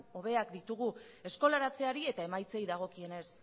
hobeak ditugu eskolaratzeari eta emaitzei dagokienez